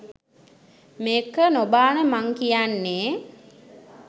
මේක නොබාන මං කියන්නේ